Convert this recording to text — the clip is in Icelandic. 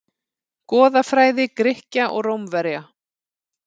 Goðafræði Grikkja og Rómverja.